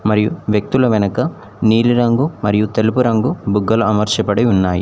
మరియు వ్యక్తుల వెనక నీలిరంగు మరియు తెలుపు రంగు బుగ్గలు అమర్చబడి ఉన్నాయి.